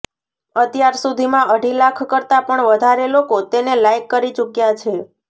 અત્યારસુધીમાં અઢી લાખ કરતાં પણ વધારે લોકો તેને લાઈક કરી ચૂક્યા છે